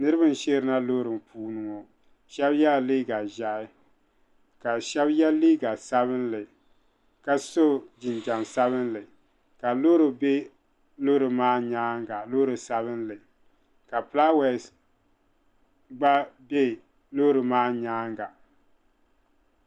Niriba n-sheeri na loori puuni ŋɔ shɛba yela liiga ʒɛhi ka shɛba ye liiga sabinli ka so jinjam sabinli ka loori be loori maa nyaaŋa loori sabinli ka fulaawaasi gba be loori maa nyaaŋa.